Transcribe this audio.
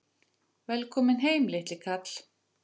Velkominn heim, litli kall!